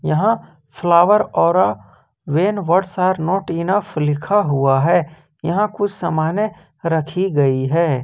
यहां flower aura when words are not enough लिखा हुआ है यहां कुछ सामान्य रखी गई है।